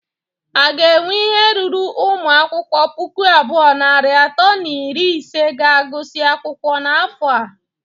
A ga enwe ihe ruru ụmụ akwụkwọ puku abụọ, narị atọ na iri ise ga-agụsị akwụkwọ n'afọ a?